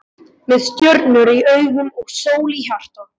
Með stjörnur í augum og sól í hjarta.